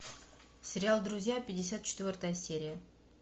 сериал друзья пятьдесят четвертая серия